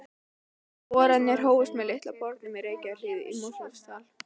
Boranir hófust með Litla bornum í Reykjahlíð í Mosfellsdal.